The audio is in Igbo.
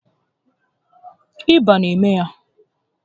Ịba na eme ya